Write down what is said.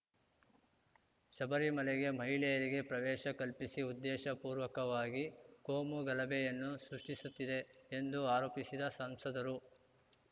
ಶಬರಿ ಮಲೆಗೆ ಮಹಿಳೆಯರಿಗೆ ಪ್ರವೇಶ ಕಲ್ಪಿಸಿ ಉದ್ದೇಶ ಪೂರ್ವಕವಾಗಿ ಕೋಮು ಗಲಭೆಯನ್ನು ಸೃಷ್ಟಿಸುತ್ತಿದೆ ಎಂದು ಆರೋಪಿಸಿದ ಸಂಸದರು